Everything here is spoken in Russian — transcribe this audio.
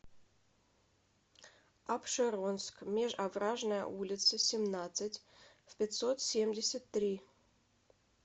апшеронск межовражная улица семнадцать в пятьсот семьдесят три